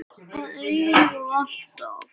Að eilífu og alltaf.